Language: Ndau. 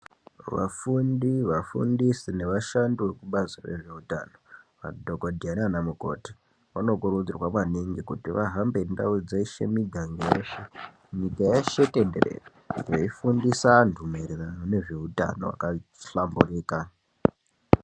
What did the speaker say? Vafundi, vafundisi nevashandi vekubazi rezveutano, madhokodheya nanamukoti vanokurudzirwa maningi kuti vahambe ndau dzeshe miganga yeshe nyika yeshe tenderere veifundisa antu maererano ngezveutano hwakahlamburika.